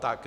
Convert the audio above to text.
Tak.